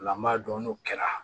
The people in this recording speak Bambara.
O la an b'a dɔn n'o kɛra